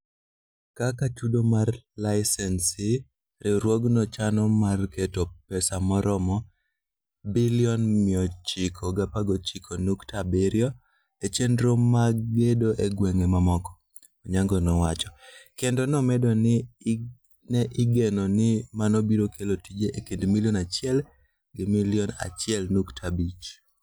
Kaka chudo mar layisensi, riwruogno chano mar keto pesa maromo Sh919.7 billion e chenro mag gedo e gwenge mamoko, Onyango nowacho, kendo nomedo ni ne igeno ni mano biro kelo tije e kind milion 1 gi milion 1.5.